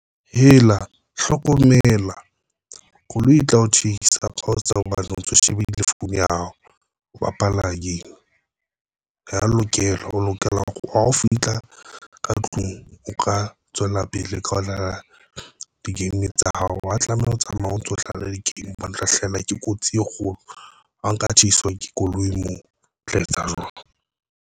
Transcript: Hela hlokomela koloi e tla o tsheisa ko tseo hobane o ntso shebile Phone ya hao, o bapala game. Ha o ya lokela o lokela hore wa ho fihla ka tlung o ka tswela pele ka ho dlala di-game tsa hao, wa tlameha ho tsamaya o ntso hlale di-game bo ntlo hlahelwa ke kotsi e kgolo. Ho nka tshaiswa ke koloi moo o tla etsa.